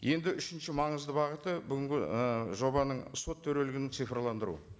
енді үшінші маңызды бағыты бүгінгі і жобаның сот төрелігін цифрландыру